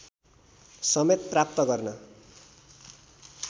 समेत प्राप्त गर्न